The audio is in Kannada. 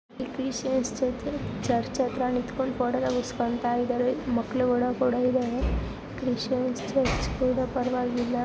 ಈ ಕ್ರಿಶ್ಚಿಯನ್ಸ್ ಚರ್ಚ್ ಚರ್ಚ್ ಅತ್ರ ನಿತ್ಕೊಂಡು ಫೋಟೋ ತೆಗುಸ್ಕೊಂತ ಇದ್ದಾರೆ. ಮಕ್ಕಳುಗಳು ಕೂಡ ಇದಾವೆ. ಕ್ರಿಶ್ಚಿಯನ್ ಚರ್ಚ್ ಕೂಡ ಪರ್ವಾಗಿಲ್ಲ.